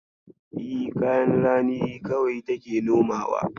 E, kayan rani kawai take nomawa.